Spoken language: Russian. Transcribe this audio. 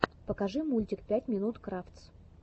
покажи мультик пять минут крафтс